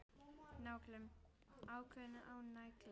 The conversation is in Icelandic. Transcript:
Nálgun: aukning á nálægð?